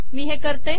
मी हे करते